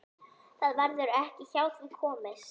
Það verður ekki hjá því komist.